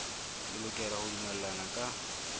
le lokela ho dumellana ka